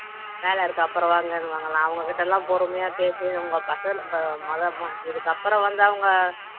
வேலை இருக்கு அப்புறம் வாங்கன்னுவாங்கலாம் அவங்ககிட்டலாம் பொறுமையா பேசி உங்க இதுக்கு அப்புறம் வந்து அவங்க